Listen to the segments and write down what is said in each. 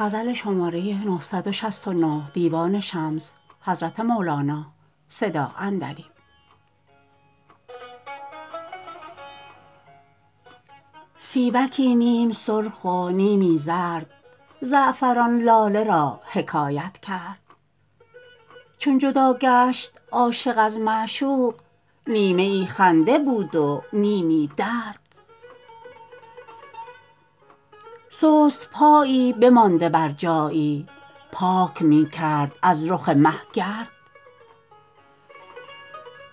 سیبکی نیم سرخ و نیمی زرد زعفران لاله را حکایت کرد چون جدا گشت عاشق از معشوق نیمه ای خنده بود و نیمی درد سست پایی بمانده بر جایی پاک می کرد از رخ مه گرد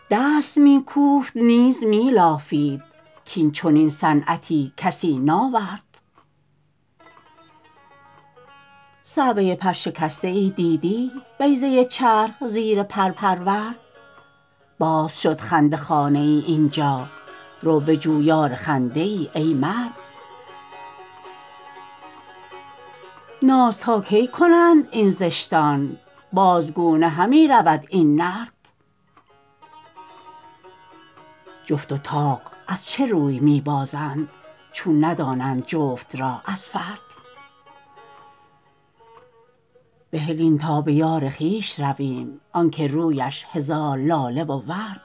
دست می کوفت نیز می لافید کاین چنین صنعتی کسی ناورد صعوه پرشکسته ای دیدی بیضه چرخ زیر پر پرورد باز شد خنده خانه این جا رو بجو یار خنده ای ای مرد ناز تا کی کنند این زشتان بازگونه همی رود این نرد جفت و طاق از چه روی می بازند چون ندانند جفت را از فرد بهل این تا به یار خویش رویم آنک رویش هزار لاله و ورد